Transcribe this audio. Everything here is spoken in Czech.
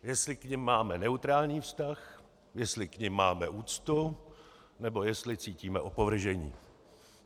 Jestli k nim máme neutrální vztah, jestli k nim máme úctu, nebo jestli cítíme opovržení.